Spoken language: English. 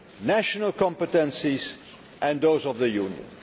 national competencies and those of the Union.